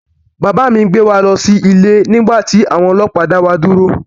Bàbá mi ń gbé wa lọ sí ilé nígbà tí àwọn ọlọ́pàá dá wa dúró